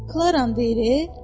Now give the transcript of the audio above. Klara deyir.